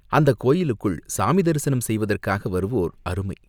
அந்தக் கோயிலுக்குள் சாமி தரிசனம் செய்வதற்காக வருவோர் அருமை.